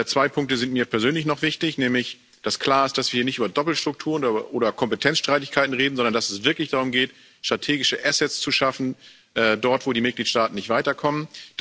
Zwei Punkte sind mir persönlich noch wichtig Nämlich dass klar ist, dass wir nicht über Doppelstrukturen oder Kompetenzstreitigkeiten reden, sondern dass es wirklich darum geht, strategische Assets zu schaffen, dort wo die Mitgliedstaaten nicht weiterkommen.